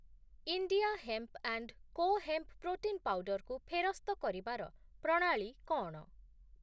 India hemp and co hemp protein powder କୁ ଫେରସ୍ତ କରିବାର ପ୍ରଣାଳୀ କ’ଣ?